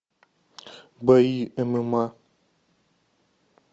бои мма